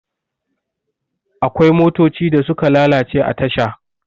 akwai motocin da suka lalace a tasha